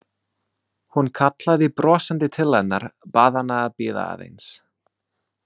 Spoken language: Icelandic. Hún kallaði brosandi til hennar, bað hana að bíða aðeins.